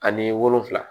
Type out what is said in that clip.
Ani wolonfila